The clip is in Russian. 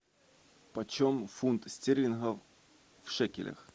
почем фунт стерлингов в шекелях